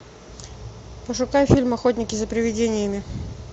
пошукай фильм охотники за приведениями